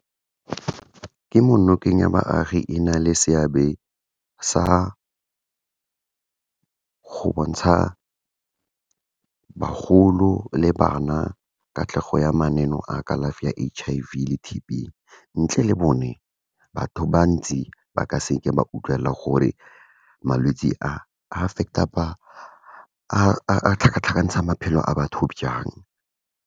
Kemonokeng ya baagi ena le seabe sa go bontsha bagolo le bana, katlego ya mananeo a kalafi ya H_I_V le T_B, ntle le bone batho bantsi, ba ka seke ba utlwelela gore malwetse a, affect-a, a tlhakatlhakantsha maphelo a batho byang.